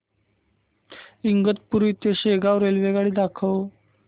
इगतपुरी ते शेगाव रेल्वेगाडी दाखव